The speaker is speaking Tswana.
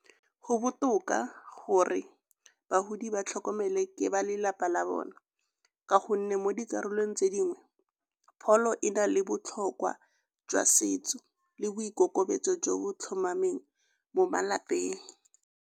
Go botoka gore bagodi ba tlhokomele ke ba lelapa la bona ka gonne mo dikarolong tse dingwe pholo e na le botlhokwa jwa setso le boikokobetso jo bo tlhomameng mo malapeng.